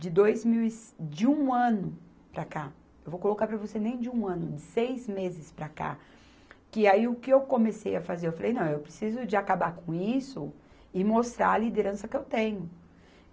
de dois mil e cin, de um ano para cá, eu vou colocar para você nem de um ano, de seis meses para cá, que aí o que eu comecei a fazer, eu falei, não, eu preciso de acabar com isso e mostrar a liderança que eu tenho.